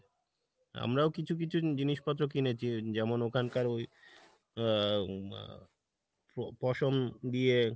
আমরাও কিছু কিছু জিনিসপত্র যেমন ওখানকার ওই আহ মা প্রো~পশম দিয়ে